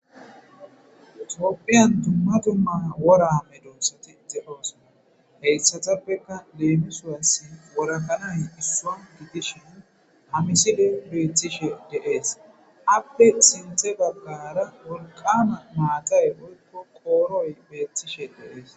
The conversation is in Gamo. Tophphiyan dumma dumma wora medoosati teqetoosona. Hayssatappeka leemisos wora kanay issoy gidishin hametidi bettishe de'esappe sinthe baggara wolqama maatay woykko qooroy beettishe de'ees.